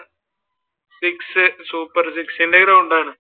six, super six ന്റെ ഗ്രൗണ്ടാണ്.